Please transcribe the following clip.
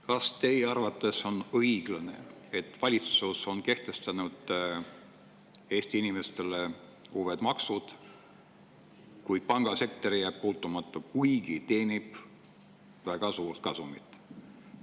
Kas teie arvates on õiglane, et valitsus on kehtestanud Eesti inimestele uued maksud, kuid pangasektor jääb puutumata, kuigi teenib väga suurt kasumit?